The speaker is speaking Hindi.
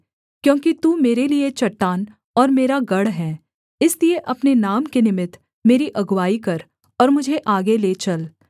क्योंकि तू मेरे लिये चट्टान और मेरा गढ़ है इसलिए अपने नाम के निमित्त मेरी अगुआई कर और मुझे आगे ले चल